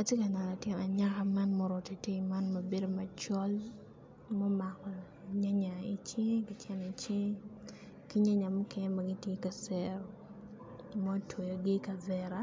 Atye ka neno latin anyaka man ma oruko tei tei man ma bedo macol mumako nyanya i cinge ki nyanya mukene ma gitye i kacero motyweyogi i kavera